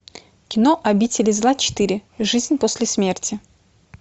кино обитель зла четыре жизнь после смерти